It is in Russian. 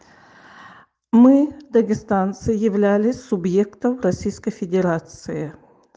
мы дагестанцы являлись субъектов российской федерации